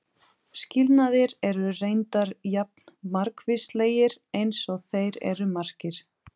Skilnaðir eru reyndar jafn margvíslegir eins og þeir eru margir.